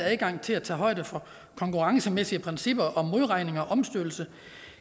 adgang til at tage højde for konkurrencemæssige principper om modregning og omstødelse